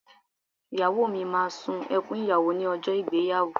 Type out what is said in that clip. Ìyàwó mi máa sun ẹkùn ìyàwó ní ọjọ́ ìgbéyàwó